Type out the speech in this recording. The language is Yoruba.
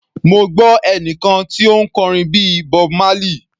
Mo gbọ́ ẹnìkan tí ó ń kọrin bíi Bob Marley.